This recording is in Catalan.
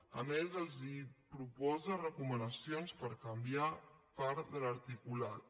a més els proposa recomanacions per canviar part de l’articulat